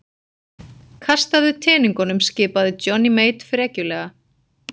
Kastaðu teningunum skipaði Johnny Mate frekjulega.